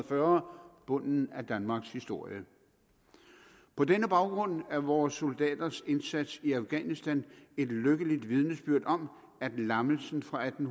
fyrre bunden af danmarkshistorien på denne baggrund er vores soldaters indsats i afghanistan et lykkeligt vidnesbyrd om at lammelsen fra atten